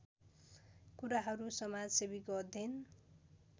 कुराहरू समाजसेवीको अध्ययन